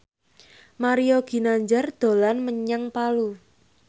Mario Ginanjar dolan menyang Palu